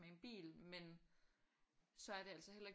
Men en bil men så er det altså heller ikke